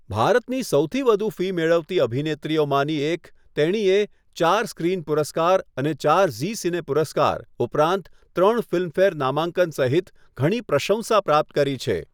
ભારતની સૌથી વધુ ફી મેળવતી અભિનેત્રીઓમાંથી એક, તેણીએ ચાર સ્ક્રિન પુરસ્કાર અને ચાર ઝી સિને પુરસ્કાર, ઉપરાંત ત્રણ ફિલ્મફેર નામાંકન સહિત ઘણી પ્રશંસા પ્રાપ્ત કરી છે.